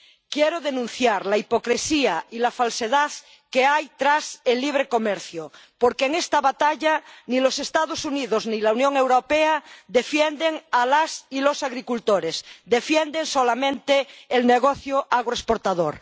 Quiero denunciar la hipocresía y la falsedad que hay tras el libre comercio, porque en esta batalla ni los Estados Unidos ni la Unión Europea defienden a las y los agricultores defienden solamente el negocio agroexportador.